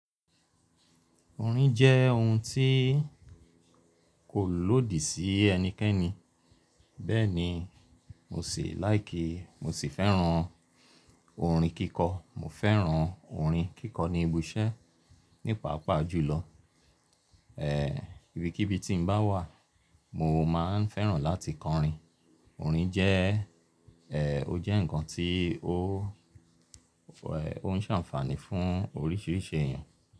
Orin jẹ́ ohun tí kò lòdì sí ẹnikẹ́ni. Bẹ́ẹ̀ ni, mo sì like. Mo sì fẹ́ràn orin kíkọ́. Mo fẹ́ràn orin kíkọ ní ibi iṣẹ́ nípa pàápàá jùlọ. Eeh, ibikíbi tí n bá wà, mo máa ń fẹ́ràn láti kọ orin. Orin jẹ́, Eeh, ó jẹ́ ǹkan tí ó, ó ń ṣe àǹfààní fún oríṣiríṣi èèyàn.